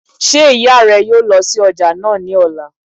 Ṣé ìyá rẹ yóò lọ sí ọjà náà ní ọ̀la?